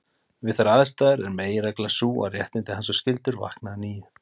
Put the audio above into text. Við þær aðstæður er meginreglan sú að réttindi hans og skyldur vakna að nýju.